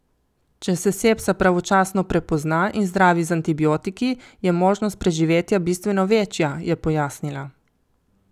Če se sepsa pravočasno prepozna in zdravi z antibiotiki, je možnost preživetja bistveno večja, je pojasnila.